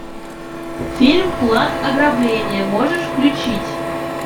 фильм план ограбления можешь включить